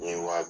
N ye wa